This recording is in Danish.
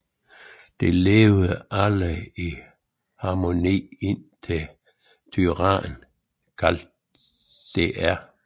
De levede alle i harmoni indtil en tyran kaldt Dr